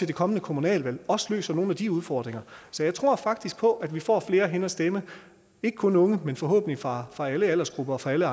det kommende kommunalvalg også løser nogle af de udfordringer så jeg tror faktisk på at vi får flere hen at stemme ikke kun unge men forhåbentlig fra fra alle aldersgrupper og fra alle